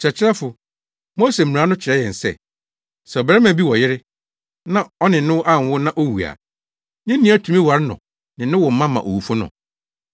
“Kyerɛkyerɛfo, Mose mmara no kyerɛ yɛn se, sɛ ɔbarima bi wɔ ɔyere na ɔne no anwo na owu a, ne nua tumi ware no ne no wo mma ma owufo no.